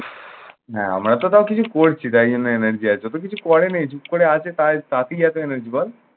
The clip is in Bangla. না আমরাতো তাও কিছু করছি তাই জন্যে energy আছে। ওতো কিছু করেনি চুপ করে আছে তাই তাতেই এতো energy বল?